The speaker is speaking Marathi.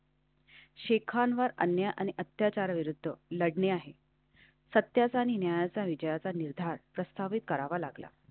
शेखानवर अन्याय आणि अत्याचारविरुद्ध लढणे आहे सत्याचा न्यायाचा विजयाचा निर्धार प्रस्तावित करावा लागला.